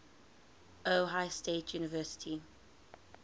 ohio state university